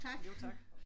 Jo tak